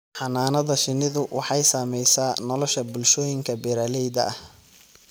Xannaanada shinnidu waxay saamaysaa nolosha bulshooyinka beeralayda ah.